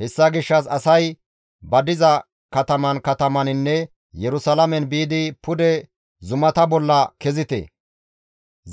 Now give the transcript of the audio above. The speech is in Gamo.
Hessa gishshas asay ba diza kataman katamaninne Yerusalaamen biidi, «Pude zumata bolla kezite;